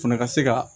O fana ka se ka